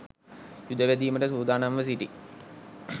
යුද වැදීමට සූදානම්ව සිටි